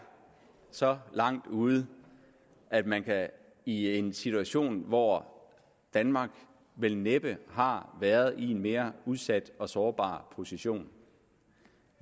så langt ude at man i en situation hvor danmark vel næppe har været i en mere udsat og sårbar position og